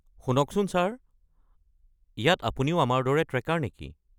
শুনকচোন ছাৰ, ইয়াত আপুনিও আমাৰ দৰে ট্ৰেকাৰ নেকি?